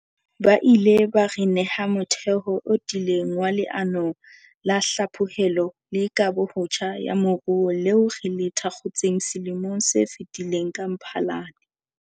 Bo ile ba re neha motheo o tiileng wa Leano la Hlaphohelo le Kahobotjha ya Moruo leo re le thakgotseng selemong se fetileng ka Mphalane.